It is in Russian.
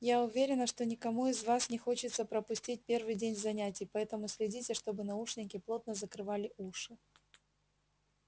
я уверена что никому из вас не хочется пропустить первый день занятий поэтому следите чтобы наушники плотно закрывали уши